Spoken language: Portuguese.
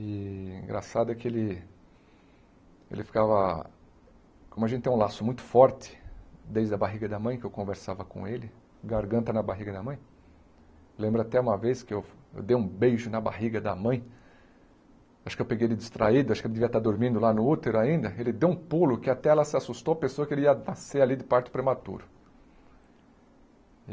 E o engraçado é que ele... ele ficava... como a gente tem um laço muito forte desde a barriga da mãe, que eu conversava com ele, garganta na barriga da mãe, lembro até uma vez que eu dei um beijo na barriga da mãe, acho que eu peguei ele distraído, acho que ele devia estar dormindo lá no útero ainda, ele deu um pulo que até ela se assustou, pensou que ele ia nascer ali de parto prematuro.